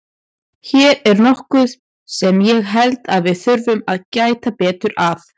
Hér er nokkuð sem ég held að við þurfum að gæta betur að.